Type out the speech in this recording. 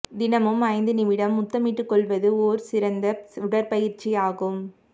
தினமும் ஐந்து நிமிடம் முத்தமிட்டுக்கொள்வது ஓர் சிறந்த உடற்பயிற்சி ஆகும்